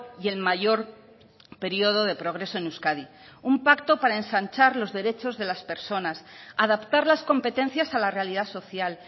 y el mayor periodo de progreso en euskadi un pacto para ensanchar los derechos de las personas adaptar las competencias a la realidad social